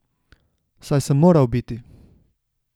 Saj sem moral biti.